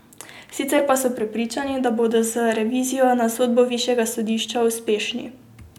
Sicer pa so prepričani, da bodo z revizijo na sodbo višjega sodišča uspešni.